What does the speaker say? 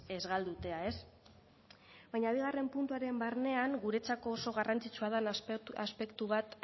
ez galtzea ez baina bigarren puntuaren barnean guretzako oso garrantzitsua da aspektu bat